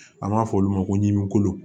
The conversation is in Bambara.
An b'a fɔ olu ma ko ɲimikolon